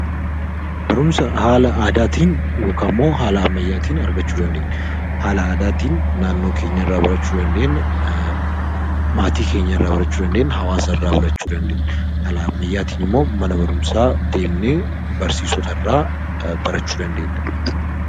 Barumsa haala aadaatiin yookiin ammayyaatiin argachuu dandeenya. Haala aadaatiin naannoo keenya irraa, maatii keenya irraa fi hawaasa irraa barachuu dandeenya. Haala ammayyaatiin immoo mana barumsaa deemnee barsiisota irraa barachuu dandeenya.